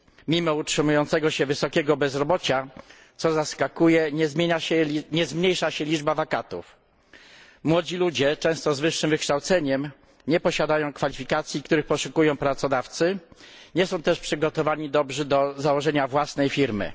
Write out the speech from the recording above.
Mimo utrzymującego się wysokiego bezrobocia, co zaskakuje, nie zmniejsza się liczba wakatów. Młodzi ludzie, często z wyższym wykształceniem, nie posiadają kwalifikacji, których poszukują pracodawcy, nie są też dobrze przygotowani do założenia własnej firmy.